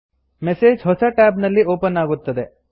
message ಹೊಸ tab ನಲ್ಲಿ open ಆಗುತ್ತದೆ